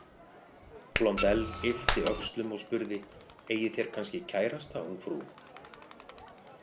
Blondelle yppti öxlum og spurði: „Eigið þér kannski kærasta, ungfrú“?